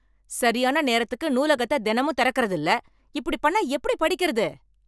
சரியான நேரத்துக்கு நூலகத்த தினமும் திறக்கறது இல்ல. இப்படி பண்ணா எப்படி படிக்கறது.